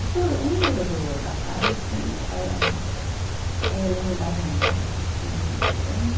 O que eu lembro do da casa, assim eh, e eu lembro da janela, assim, que tinha uma janela grande.